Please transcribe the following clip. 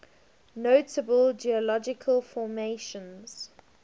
notable geological formations